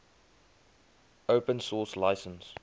open source license